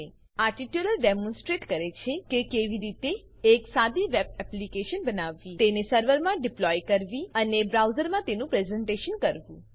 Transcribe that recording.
આ tutorial demonstrates demonstrates કરે છે કે કેવી રીતે એક સાદી વેબ એપ્લીકેશન બનાવવી તેને સર્વરમાં ડિપ્લોય ડિપ્લોય કરવી અને બ્રાઉઝરમાં તેનું પ્રેઝન્ટેશન પ્રેઝેન્ટેશન કરવું